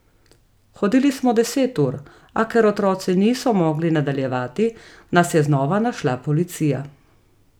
Hodili smo deset ur, a ker otroci niso mogli nadaljevati, nas je znova našla policija.